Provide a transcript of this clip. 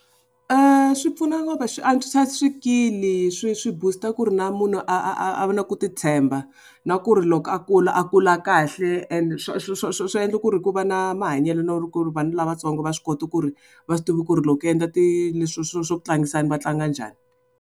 Swi pfuna swi antswisa swikili swi swi boost-a ku ri na munhu a a a a va na ku titshemba. Na ku ri loko a kula a kula kahle ende swi endla ku ri ku va na mahanyelo no ku ri vanhu lavatsongo va swi kota ku ri va swi tivi ku ri loko ku endla ti leswiya swo swo swo tlangisana va tlanga njhani.